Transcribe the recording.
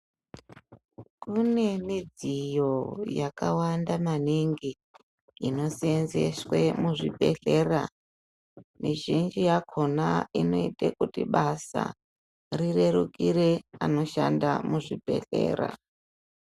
Mune midziyo yakawanda maningi inoseenzeswe muzvibhedhlera mizhinji yakhona inoita kuti basa rirerukire anoshanda muzvibhedhlera.